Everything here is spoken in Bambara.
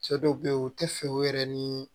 Cɛ dɔw be yen u te fɛ u yɛrɛ ni